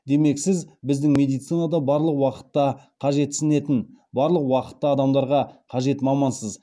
демек сіз біздің медицинада барлық уақытта қажетсінетін барлық уақытта адамдарға қажет мамансыз